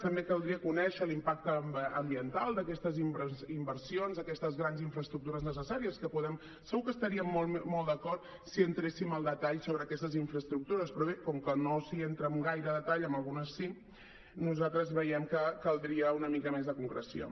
també caldria conèixer l’impacte ambiental d’aquestes inversions aquestes grans infraestructures necessàries que segur que estaríem molt d’acord si hi entréssim al detall sobre aquestes infraestructures però bé com que no s’hi entra en gaire detall en algunes sí nosaltres veiem que caldria una mica més de concreció